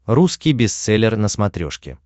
русский бестселлер на смотрешке